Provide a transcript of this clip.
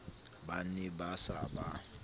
ba ne ba sa ba